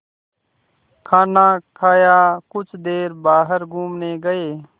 खाना खाया कुछ देर बाहर घूमने गए